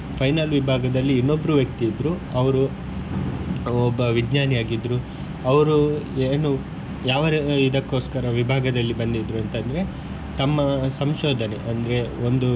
Final ವಿಭಾಗದಲ್ಲಿ ಇನ್ನೊಬ್ರು ವ್ಯಕ್ತಿ ಇದ್ರು ಅವರು ಒಬ್ಬ ವಿಜ್ನಾನಿ ಆಗಿದ್ರು ಅವರು ಏನು ಯಾವ ಇದಕ್ಕೋಸ್ಕರ ವಿಭಾಗದಲ್ಲಿ ಬಂದಿದ್ರು ಅಂತಂದ್ರೆ ತಮ್ಮ ಸಂಶೋದನೆ ಅಂದ್ರೆ ಒಂದು.